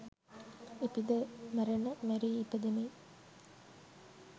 ඉපිද මැරෙන මැරී ඉපදෙමින්